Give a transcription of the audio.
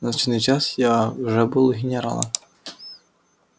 в назначенный час я уже был у генерала